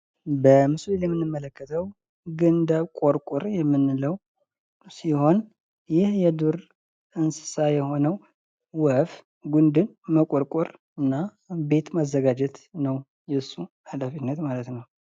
በምስሉ ላይ የምንመለከተው ግንደ ቆርቁር የምንለው ሲሆን ይህ የዱር እንስሳ የሆነው ወፍ ግንድን መቆርቆር እና ቤት ማዘጋጀት ነው የእሱ ኃላፊነት ማለት ነው ።